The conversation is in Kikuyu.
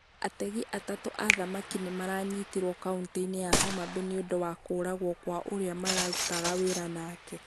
Ategi atatũ a thamaki nĩ maranyitwo kauntĩ-inĩ ya Homa Bay nĩ ũndũ wa kũragwo kwa ũrĩa marutaga wĩra nake.